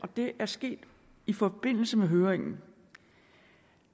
det er sket i forbindelse med høringen vi